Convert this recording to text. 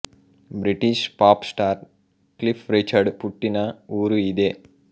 British pop star Cliff Richard పుట్టిన ఊరు ఇదే